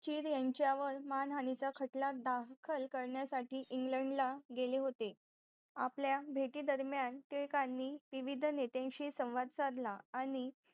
शिर यांच्यावर मानहानीचा खटला दाखल करण्यासाठी इंग्लंडला गेले होते आपल्या भेटी दरम्यान टिळकांनी विविध नेत्यांशी संवाद साधला आणि